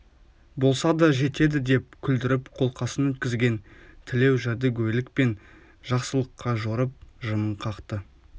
болса да жетеді деп күлдіріп қолқасын өткізген тілеу жәдігөйлікпен жақсылыққа жорып жымың қақты